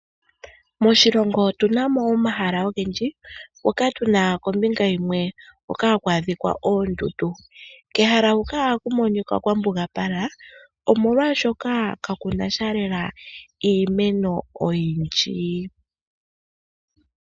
Moshilongo otu na mo omahala ogendji moka tu na kombinga yimwe hoka haku adhika oondundu. Kehala huka ohaku monika kwa mbugapala, omolwashoka kaku na sha lela iimeno oyindji.